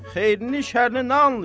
Xeyrini, şərrini nə anlayır?